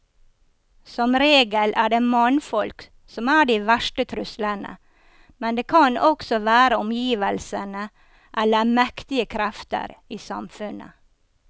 Som regel er det mannfolk som er de verste truslene, men det kan også være omgivelsene eller mektige krefter i samfunnet.